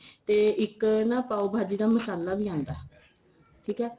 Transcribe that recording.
ਤੇ ਇੱਕ ਨਾ ਪਾਉ ਭਾਜੀ ਦਾ ਮਸਾਲਾ ਵੀ ਆਂਦਾ ਠੀਕ ਏ